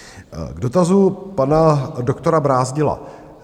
K dotazu pana doktora Brázdila.